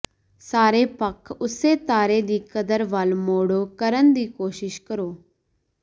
ਸਾਰੇ ਪੱਖ ਉਸੇ ਤਾਰੇ ਦੀ ਕਦਰ ਵੱਲ ਮੋੜੋ ਕਰਨ ਦੀ ਕੋਸ਼ਿਸ਼ ਕਰੋ